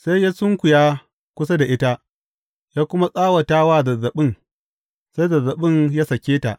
Sai ya sunkuya kusa da ita, ya kuma tsawata wa zazzaɓin, sai zazzaɓin ya sāke ta.